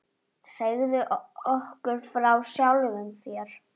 Segðu okkur frá sjálfum þér.